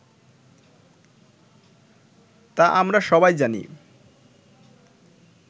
তা আমরা সবাই জানি